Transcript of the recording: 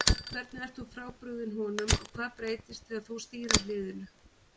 Hvernig ert þú frábrugðinn honum og hvað breytist þegar þú stýrir liðinu?